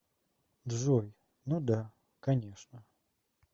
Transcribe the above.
джой ну да конечно